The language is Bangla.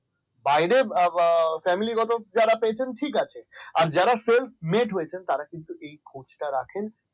বাইরে family গত যারা পেয়েছেন ঠিক আছে আর যারা self met হয়েছেন তারা কিন্তু খোঁজটা রাখেন